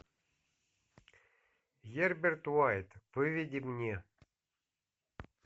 герберт уайт выведи мне